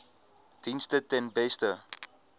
dienste ten beste